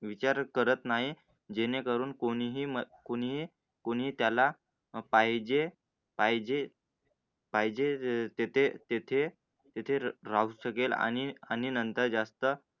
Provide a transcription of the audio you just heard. विचार करत नाही. जेणेकरून कोणी ही कुणी कुणी त्याला पाहिजे, पाहिजे पाहिजे तेथे तेथे तेथे राहू शकेल आणि आणि नंतर जास्त